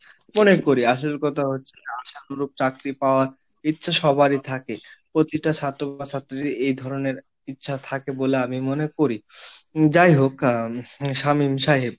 মনে করি, আসল কথা হচ্ছে, আশানুরূপ চাকরি পাওয়ার ইচ্ছা সবারই থাকে, প্রতিটা ছাত্র বা ছাত্রীর এই ধরনের ইচ্ছা থাকে বলে আমি মনে করি, যাই হোক আহ শামীম সাহেব।